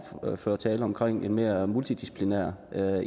ordførertale omkring en mere multidisciplinær